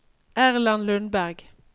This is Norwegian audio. Erland Lundberg